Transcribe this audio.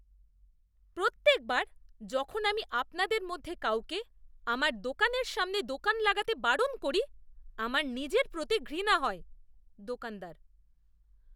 প্রত্যেকবার যখন আমি আপনাদের মধ্যে কাউকে আমার দোকানের সামনে দোকান লাগাতে বারণ করি, আমার নিজের প্রতি ঘৃণা হয়! দোকানদার